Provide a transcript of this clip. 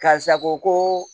Karisa ko